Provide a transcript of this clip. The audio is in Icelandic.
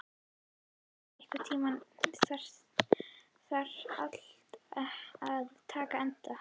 Ásgerður, einhvern tímann þarf allt að taka enda.